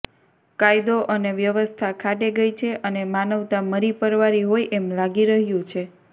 કાયદો અને વ્યવસ્થા ખાડે ગઈ છે અને માનવતા મરી પરવારી હોય એમ લાગી રહ્યું છે